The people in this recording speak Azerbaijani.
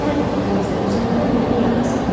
Hər dəfə dənizdə üzəndə məni yada sal.